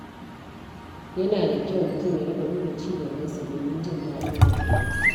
Yana da kyau mutum ya riƙa duba ci gabansa domin jin daɗin rayuwarsa.